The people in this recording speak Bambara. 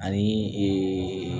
Ani ee